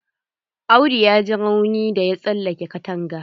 Audu ya ji rauni da ya tsallake katanga.